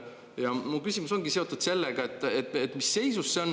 Ja mu küsimus ongi seotud sellega, et mis seisus see on.